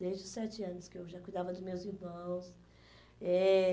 Desde os sete anos que eu já cuidava dos meus irmãos. Eh